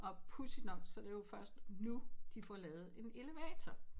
Og pudsigt nok så er det jo først nu de får lavet en elevator